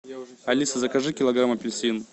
алиса закажи килограмм апельсин